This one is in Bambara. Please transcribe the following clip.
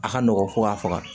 A ka nɔgɔn fo ka faga